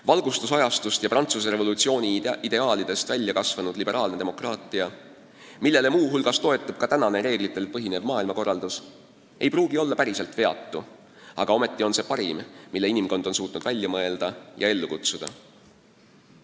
Valgustusajastust ja Prantsuse revolutsiooni ideaalidest välja kasvanud liberaalne demokraatia, millele muu hulgas toetub ka tänane reeglitel põhinev maailmakorraldus, ei pruugi olla päriselt veatu, aga see on parim, mille inimkond on suutnud välja mõelda ja ellu kutsuda.